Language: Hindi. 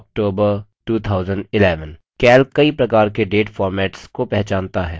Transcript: calc कई प्रकार के date formats को पहचानता है